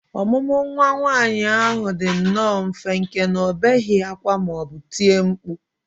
Ọmụmụ nwa nwaanyị ahụ dị nnọọ mfe nke na ọ na obeghị ákwá ma ọ bụ tie mkpu